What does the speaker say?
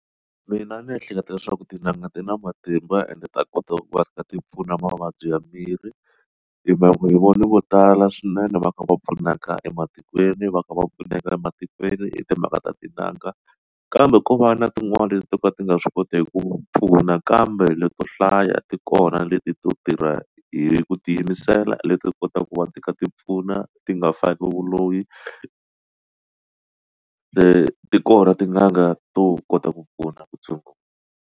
Mina ndzi ehleketa leswaku tin'anga ti na matimba ende ta kota ku va ri ka ti pfuna mavabyi ya miri hi mhaka ku yi voni vo tala swinene va kha va pfunaka ematikweni va kha va pfuneka ematikweni i timhaka ta tin'anga kambe ko va na tin'wani to ka ti nga swi kotiki ku pfuna kambe leto hlaya tikona leti to tirha hi ku tiyimisela leti kotaka ku va ti ka ti pfuna ti nga faki vuloyi ti kona tin'anga to kota ku pfuna ku tshungula.